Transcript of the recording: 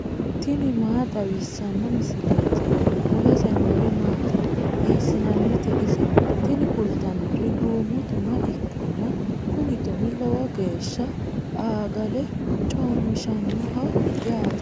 tini maa xawissanno misileeti ? mulese noori maati ? hiissinannite ise ? tini kultannori duumo tuma ikkanna kuni tumi lowo geeshsha aagale coommishannoho yaate.